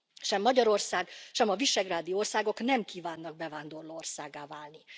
Sem Magyarország, sem a visegrádi országok nem kívánnak bevándorló országgá válni.